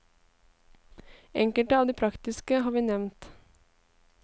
Enkelte av de praktiske har vi nevnt.